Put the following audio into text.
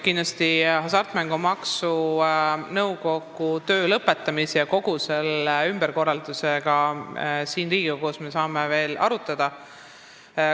Kindlasti saame Hasartmängumaksu Nõukogu töö lõpetamise ja kogu selle ümberkorralduse üle siin Riigikogus veel arutada.